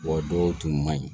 Wa dɔw tun man ɲi